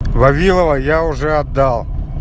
вавиловой я уже отдал